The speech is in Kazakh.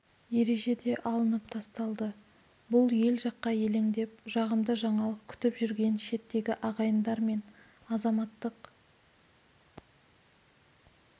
ережеде алынып тасталды бұл ел жаққа елеңдеп жағымды жаңалық күтіп жүрген шеттегі ағайындар мен азаматтық